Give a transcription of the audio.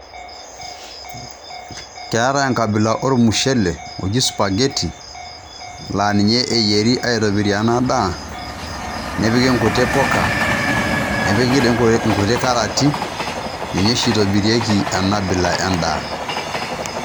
ketai nkabilaa omuchelee oji supagetii laa linye eiyeri aitobirr ena endaa nepikii nkitii buukaa, nepikii nkulee karaati. Ninye sii eitobirieki ena abilaa endaa.